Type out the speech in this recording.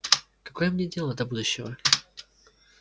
какое мне дело до будущего